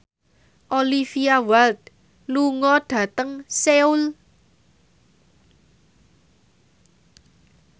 Olivia Wilde lunga dhateng Seoul